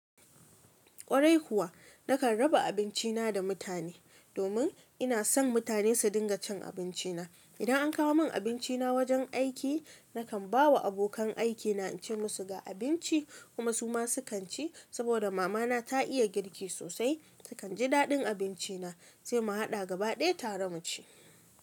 Kwarai kuwa, nakan raba abinci na da mutane domin ina son mutane su dinga cin abinci na. Idan an kawo min abinci na wajen aiki, nakan ba wa abokan aiki na in ce musu ga abinci kuma su ma sukan ci saboda mama na ta iya girki sosai. Sukan ji daɗin abinci na sai mu haɗa gaba ɗaya tare mu ci.